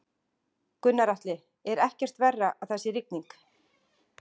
Gunnar Atli: Er ekkert verra að það sé rigning?